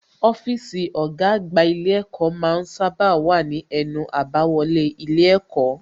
Ọ́fíìsì ọ̀gá àgbà ilé ẹ̀kọ́ ma ń sábà wà ní ẹnu àbáwọlé ilé ẹ̀kọ́